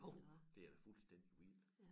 Jo det er da fuldstændig vildt